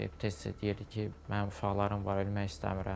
Tez-tez deyirdi ki, mənim uşaqlarım var, ölmək istəmirəm.